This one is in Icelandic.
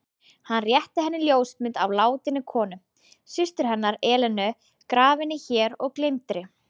Hann rétti henni ljósmynd af látinni konu: systur hennar, Elenu, grafinni hér og gleymdri.